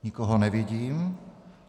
Nikoho nevidím.